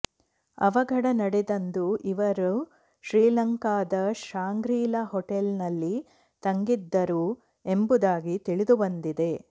ಅವಘಡ ನಡೆದಂದು ಇವರು ಶ್ರೀಲಂಕಾದ ಶಾಂಗ್ರೀಲಾ ಹೋಟೆಲ್ನಲ್ಲಿ ತಂಗಿದ್ದರು ಎಂಬುದಾಗಿ ತಿಳಿದುಬಂದಿದೆ